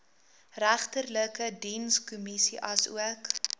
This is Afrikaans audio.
regterlike dienskommissie asook